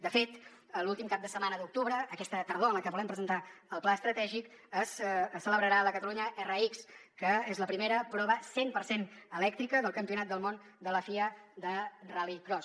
de fet l’últim cap de setmana d’octubre aquesta tardor en la que volem presentar el pla estratègic es celebrarà la catalunya rx que és la primera prova cent per cent elèctrica del campionat del món de la fia de rallycross